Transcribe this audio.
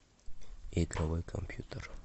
игровой компьютер